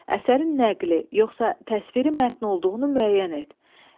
Əsərin nəqli, yoxsa təsviri mətn olduğunu müəyyən et.